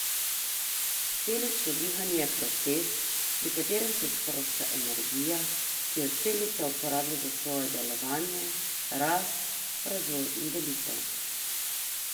Celično dihanje je proces, pri katerem se sprošča energija, ki jo celica uporablja za svoje delovanje, rast, razvoj in delitev.